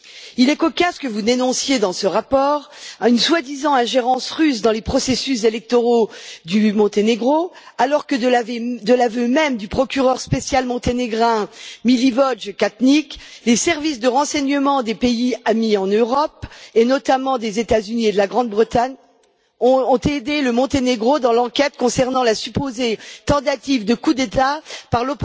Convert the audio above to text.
Il est cocasse que vous dénonciez dans ce rapport, une soi disant ingérence russe dans les processus électoraux du Monténégro, alors que de l'aveu même du procureur spécial monténégrin Milivoje Katnić, les services de renseignements des pays amis en Europe et notamment des États Unis et de la Grande Bretagne ont aidé le Monténégro dans l'enquête concernant la supposée tentative de coup d'État par